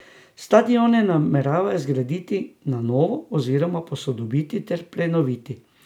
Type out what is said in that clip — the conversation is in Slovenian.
Stadione nameravajo zgraditi na novo oziroma posodobiti ter prenoviti.